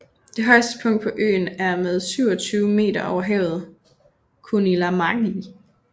Det højeste punkt på øen er med 27 meter over havet Kunilamägi